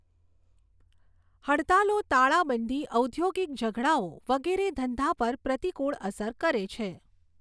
હડતાલો તાળાબંધી ઔદ્યોગિક ઝઘડાઓ વગેરે ધંધા પર પ્રતિકૂળ અસર કરે છે.